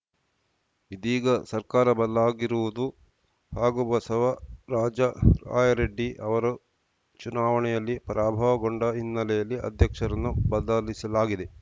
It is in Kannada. ಇದೀಗ ಸರ್ಕಾರ ಬದಲಾಗಿರುವುದು ಹಾಗೂ ಬಸವರಾಜ ರಾಯರಡ್ಡಿ ಅವರು ಚುನಾವಣೆಯಲ್ಲಿ ಪರಾಭವಗೊಂಡ ಹಿನ್ನೆಲೆಯಲ್ಲಿ ಅಧ್ಯಕ್ಷರನ್ನು ಬದಲಿಸಲಾಗಿದೆ